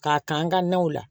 K'a kan ka naw la